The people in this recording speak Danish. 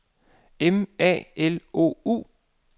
M A L O U